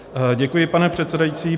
Děkuji, pane předsedající.